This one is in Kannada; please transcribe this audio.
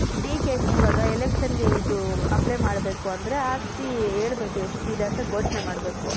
D.K ದು ಇವಾಗ electionಗೆ ಇದು apply ಮಾಡ್ಬೇಕು ಅಂದ್ರೆ ಆಸ್ತಿ ಹೇಳ್ಬೇಕು ಎಷ್ಟಿದೆ ಅಂತ ಘೋಷಣೆ ಮಾಡ್ಬೇಕು.